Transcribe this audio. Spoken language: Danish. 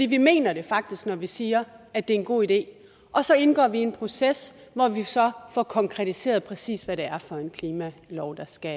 vi mener det faktisk når vi siger at det en god idé og så indgår vi i en proces hvor vi så får konkretiseret præcis hvad det er for en klimalov der skal